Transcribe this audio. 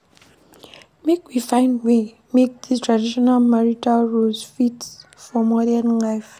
Make we find way make dese traditional marital roles fit for modern life.